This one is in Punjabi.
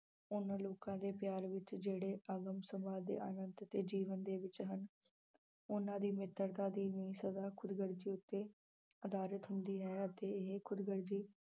ਉਹਨਾਂ ਲੋਕਾਂ ਦੇ ਪਿਆਰ ਵਿੱਚ ਜਿਹੜੇ ਆਨੰਤ ਤੇ ਜੀਵਨ ਦੇ ਵਿੱਚ ਹਨ ਉਹਨਾਂ ਦੀ ਮਿੱਤਰਤਾ ਦੀ ਨੀਂਹ ਸਦਾ ਖੁਦਗਰਜੀ ਉੱਤੇ ਆਧਾਰਿਤ ਹੁੰਦੀ ਹੈ ਅਤੇ ਇਹ ਖੁਦਗਰਜੀ